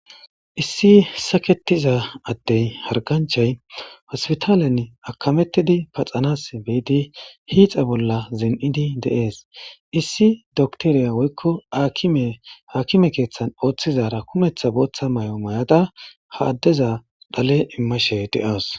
issi saketiza addey harganchay hospitaalen akamettidi paxanas beidi hiixa bolla zen7idi deees issi doktoriya woykko akime haakime keeththan ooththizara kumeththa booththa may7o may7ada ha addeza dhale immashe de7awus